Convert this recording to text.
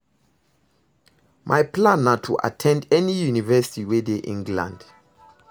My plan na to at ten d any university wey dey England